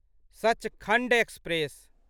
Sachkhand express